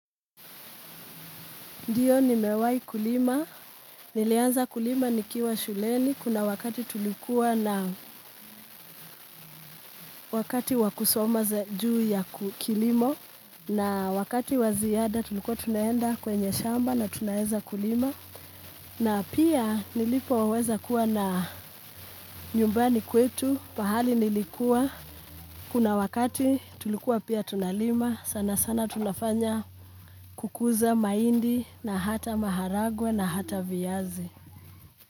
Ndiyo nimewahi kulima, nilianza kulima nikiwa shuleni, kuna wakati tulikuwa na wakati wa kusoma juu ya kilimo, na wakati wa ziada tulikuwa tunaenda kwenye shamba na tunaeza kulima, na pia nilipoweza kuwa na nyumbani kwetu, pahali nilikuwa, kuna wakati tulikuwa pia tunalima, sana sana tunafanya kukuza mahindi na hata maharagwe na hata viyazi.